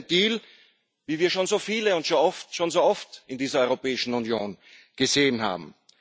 Das ist ein Deal, wie wir schon so viele und schon so oft in dieser Europäischen Union gesehen haben.